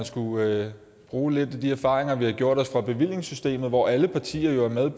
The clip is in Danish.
skulle bruge lidt af de erfaringer vi har gjort os fra bevillingssystemet hvor alle partier jo